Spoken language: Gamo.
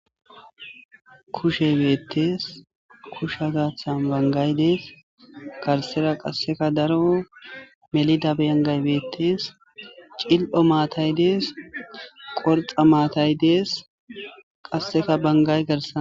kushe beettees kusha gaathan bangay dees garsera qasseka daro melida bengay beettees cil7o maatay dees qorxa maatay dees qasseka bangay garsan